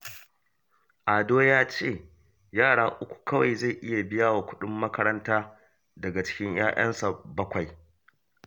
Ado ya ce yara uku kawai zai iya biya wa kuɗin makaranta daga cikin 'ya'yansa bakwai